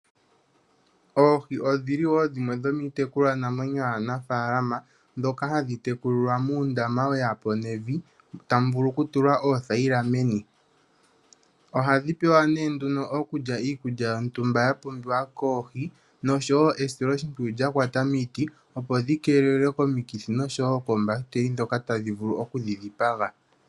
Oohi odhili wo dhimwe dhomiitekulwanamwenyo yaanafaalama mbyoka hayi tekulilwa muundama we ya po nevi, tamu vulu ku tulwa oothayila meni. Ohadhi pewa nduno okulya iikulya yontumba ya pumbiwa koohi, nosho wo esiloshimpwiyu lyakwata miiti, opo dhi keelelwe komikithi nosho wo koombahiteli ndhoka tadhi vulu okudhi dhipaga.